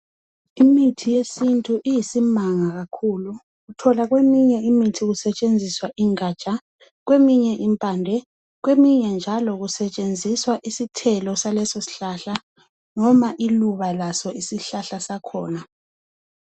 Imithi yesintu iyisimanga kakhulu uthola kweminye imithi kusetshenziswa ingaja kweminye impamde kweminye njalo kusetsheniswa isithelo salesosihlahla noma iluba laso isihlahla sakhona.